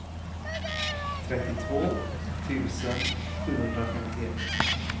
trettiotvå tusen sjuhundrafemtioett